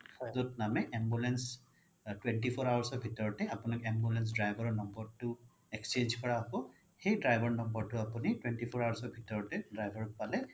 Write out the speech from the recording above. য'ত নামে ambulance twenty four hours ৰ ভিতৰতে আপোনাক ambulance driver ৰ number তো exchange কৰা হ্'ব সেই driver ৰ number তো আপোনি twenty four hours ৰ ভিতৰতে driver ক পালে